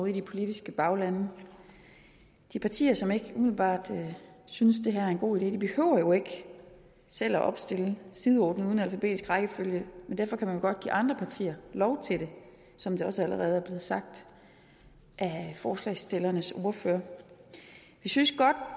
i de politiske baglande de partier som ikke umiddelbart synes det her er en god idé behøver jo ikke selv at opstille sideordnet uden alfabetisk rækkefølge men derfor kan man jo godt give andre partier lov til det som det også allerede blevet sagt af forslagsstillernes ordfører vi synes godt